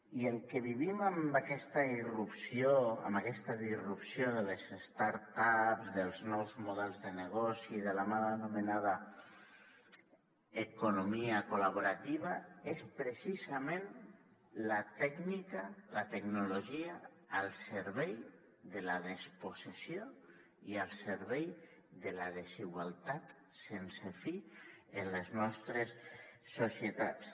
i el que vivim amb aquesta irrupció amb aquesta disrupció de les startups dels nous models de negoci de la mal anomenada economia col·laborativa és precisament la tècnica la tecnologia al servei de la despossessió i al servei de la desigualtat sense fi en les nostres societats